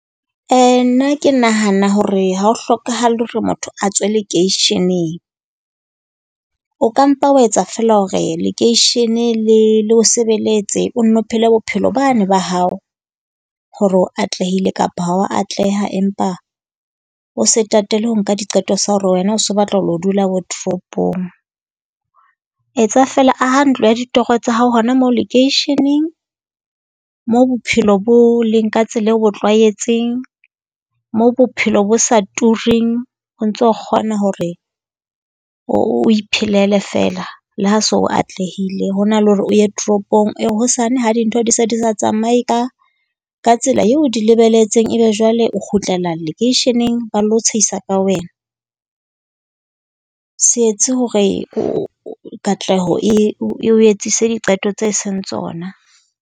Nna ke nahana hore ha ho hlokahale hore motho a tswe lekeisheneng, o ka mpa wa etsa feela hore lekeishene le le o sebeletse. O nno o phele bophelo bane ba hao hore o atlehile kapa ha o a atleha. Empa o se tatele ho nka diqeto tsa hore wena o se o lo batla ho lo dula bo toropong. Etsa feela aha ntlo ya ditoro tsa hao hona moo lekeisheneng moo bophelo bo leng ka tsela eo o bo tlwaetseng. Moo bophelo bo sa tureng. O ntso kgona hore o o iphelele feela le ha se o atlehile ho na le hore o ye toropong, ee hosane ha dintho di sa di sa tsamaye ka ka tsela eo o di lebelletseng, e be jwale o kgutlela lekeisheneng. Ba lo tshehisa ka wena. Se etse hore katleho e o etsise diqeto tse e seng tsona.